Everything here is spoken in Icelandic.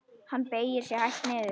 Hann beygir sig hægt niður.